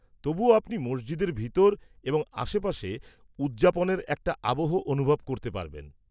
-তবুও, আপনি মসজিদের ভিতর এবং আশপাশে উদযাপনের একটা আবহ অনুভব করতে পারবেন।